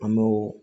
An m'o